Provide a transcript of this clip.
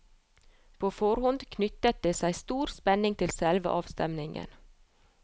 På forhånd knyttet det seg stor spenning til selve avstemningen.